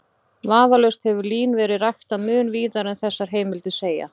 Vafalaust hefur lín verið ræktað mun víðar en þessar heimildir segja.